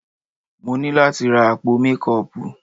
Mo ní láti ra àpò mékọọpù.